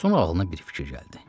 Sonra ağlına bir fikir gəldi.